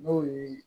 N'o ye